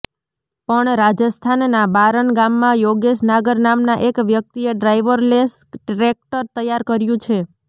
પણ રાજસ્થાનના બારન ગામમાં યોગેશ નાગર નામના એક વ્યક્તિએ ડ્રાઈવરલેસ ટ્રેકટર તૈયાર કર્યું છે